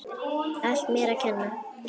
Allt mér að kenna.